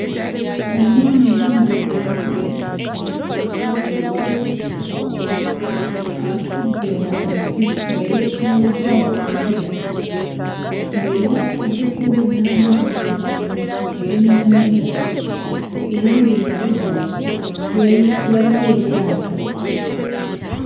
Omwami ayambadde akavesiti akaaguba atudde wansi nga yeetooloddwa obukutiya ng'era atudde kumpi n'amazzi ag'ennyanja era ng'emabega we wayi waliwo eryato.